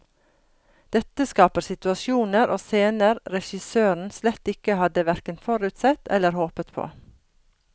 Dette skaper situasjoner og scener regissøren slett ikke hadde hverken forutsett eller håpet på.